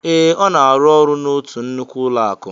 Ee, Ọ na-arụ ọrụ n'otu nnukwu ụlọakụ